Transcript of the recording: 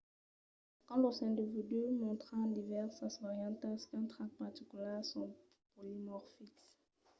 quand los individus mòstran divèrsas variantas d’un trach particular son polimorfics